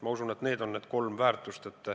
Ma usun, et need on need kolm väärtust.